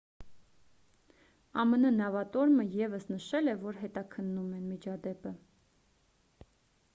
ամն նավատորմը ևս նշել է որ հետաքննում են միջադեպը